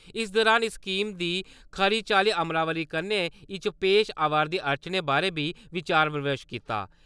इस दौरान इस स्कीम दी खरी चाल्ली अमलावरी करने इच पेश आवा’रदी अड़चने बारे बी विचार-विमर्श कीता।